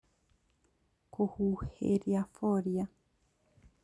Kũhuhĩria foliar